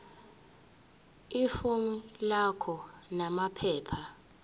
ifomu lakho namaphepha